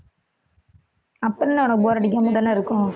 அப்புறம் என்ன உனக்கு bore அடிக்காம தானே இருக்கும்